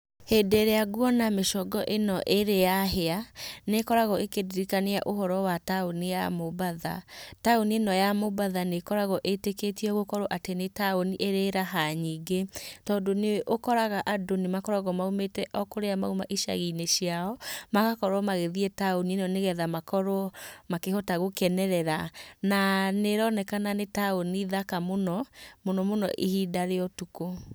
Hĩndĩ ĩrĩa nguona mĩcongo ĩno ĩrĩ ya hĩa nĩkoragwo ĩkĩndirikania uhoro wa taũni ya Mombatha. Taũni ĩno ya mombatha nĩkoragwo ĩtĩkĩtio gũkorwo atĩ nĩ tauni ĩrĩ raha nyingĩ tondu nĩ ũkoraga andũ nĩmakoragwo moimĩte o kũrĩa moima icagi-inĩ ciao magakorwo magĩthiĩ tauni inĩ ino nĩgetha makorwo makĩhota gũkenerera na nĩ ĩronekana nĩ taũni thaka mũno, mũno mũno ihinda rĩa ũtukũ.